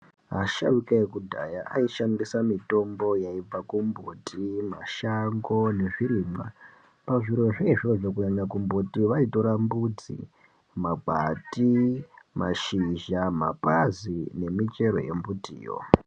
Asharukwa ekudhaya aishandisa mitombo yaibva kumuti, mashango nezvirimwa pazvirozvo izvozvo kunyanya kumbuti vaitora mbutsi magwati mapazi mashizha nemichero yembutiyo